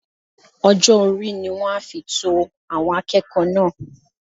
Ọjọ́-orí ni wọ́n á fi to àwọn akẹ́kọ̀ọ́ náà